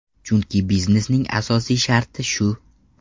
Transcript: Chunki biznesning asosiy sharti shu.